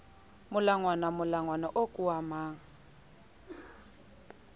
molangwana molangwana oo ke wa